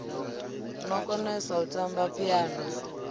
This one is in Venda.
no konesa u tamba phiano